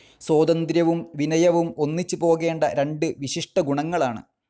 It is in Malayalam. സ്വാതന്ത്ര്യവും വിനയവും ഒന്നിച്ച് പോകേണ്ട രണ്ട് വിശിഷ്ടഗുണങ്ങളാണ്.